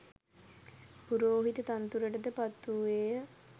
පුරෝහිත තනතුරට ද පත් වූයේ ය.